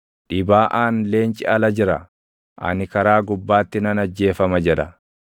Dhibaaʼaan, “Leenci ala jira! Ani karaa gubbaatti nan ajjeefama!” jedha.